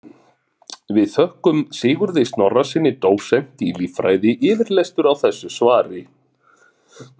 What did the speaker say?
Við þökkum Sigurði Snorrasyni dósent í líffræði yfirlestur á þessu svari.